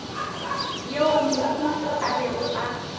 yeo mohu a bego a